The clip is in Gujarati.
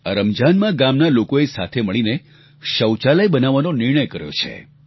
આ રમજાનમાં ગામના લોકોએ સાથે મળીને શૌચાલય બનાવવાનો નિર્ણય કર્યો છે